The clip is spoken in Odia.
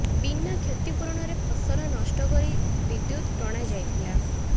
ବିନା କ୍ଷତିପୂରଣରେ ଫସଲ ନଷ୍ଟ କରି ବିଦ୍ୟୁତ ଟଣା ଯାଇଥିଲା